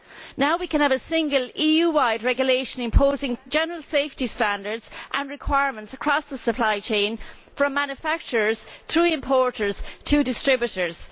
Now we can have a single EU wide regulation imposing general safety standards and requirements across the supply chain from manufacturers, through importers, to distributors.